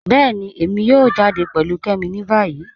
Bẹẹ̀ni, èmi yóò jáde pẹ̀lú Kẹ́mi ni bayí.